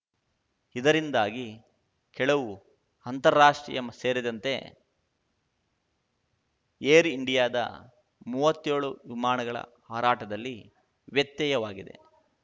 ಇದರಿಂದಾಗಿ ಕೆಲವು ಅಂತಾರಾಷ್ಟ್ರೀಯ ಸೇರಿದಂತೆ ಏರ್‌ ಇಂಡಿಯಾದ ಮೂವತ್ತೇಳು ವಿಮಾನಗಳ ಹಾರಾಟದಲ್ಲಿ ವ್ಯತ್ಯಯವಾಗಿದೆ